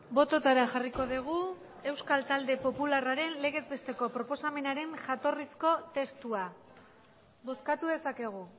bototara jarriko dugu euskal talde popularraren legez besteko proposamenaren jatorrizko testua bozkatu dezakegu